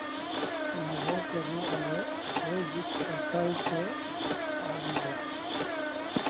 नभं उतरू आलं हे गीत ऐकायचंय आज मला